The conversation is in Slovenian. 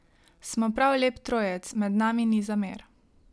Smo prav lep trojec, med nami ni zamer.